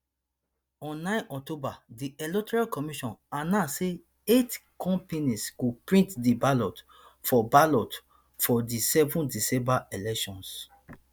on nine october di electoral commission announce say eight companies go print di ballot for ballot for di seven december elections